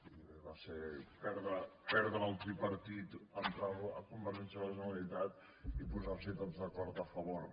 i va ser perdre el tripartit entrar convergència a la generalitat i posars’hi tots d’acord a favor